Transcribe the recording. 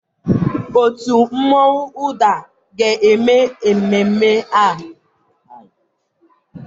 Òtù mmonwu ụdar ga-eme n'ememme a.